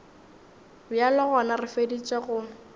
bjalo gona re feditše go